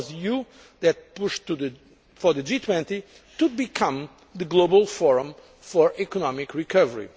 It was the EU that pushed for the G20 to become the global forum for economic recovery.